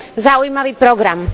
zaujímavý program.